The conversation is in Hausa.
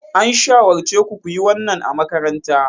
An shawarce ku ku yi wannan a makaranta.